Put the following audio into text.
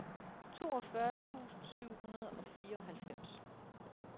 toogfyrre tusind syv hundrede og fireoghalvfems